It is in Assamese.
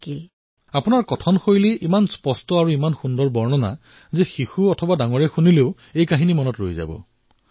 প্ৰধানমন্ত্ৰীঃ আপোনালোকৰ কথাত ইমান যথাৰ্থতা আছিল ইমান সুন্দৰকৈ বৰ্ণনা কৰিলে যে মই ভাবো যিসকল শিশুৱে শুনিব তেওঁলোকে মনতো ৰাখিব